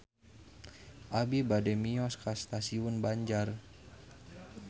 Abi bade mios ka Stasiun Banjar